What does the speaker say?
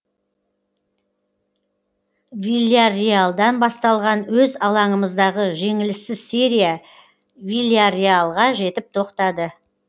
вильярреалдан басталған өз алаңымыздағы жеңіліссіз серия вильярреалға жетіп тоқтады